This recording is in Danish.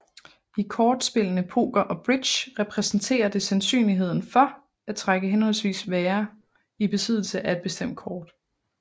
I kortspillene poker og bridge repræsenterer det sandsynligheden for at trække henholdsvis være i besiddelse af et bestemt kort